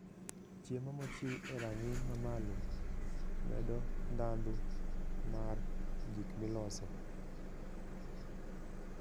Chiemo mochiw e rang'iny mamalo, medo ndhadhu mar gik miloso.